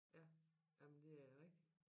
Ja jamen det er rigtig